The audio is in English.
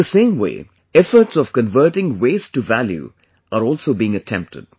In the same way, efforts of converting Waste to Value are also being attempted